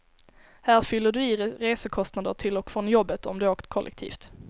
Här fyller du i resekostnader till och från jobbet, om du åkt kollektivt.